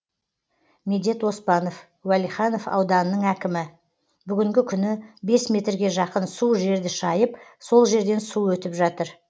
медет оспанов уәлиханов ауданының әкімі бүгінгі күні бес метрге жақын су жерді шайып сол жерден су өтіп жатыр